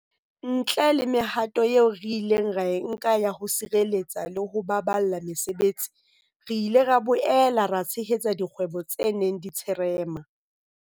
Ntle le mehato eo re ileng ra e nka ya ho sireletsa le ho baballa mesebetsi, re ile ra boela ra tshehetsa dikgwebo tse neng di tsherema.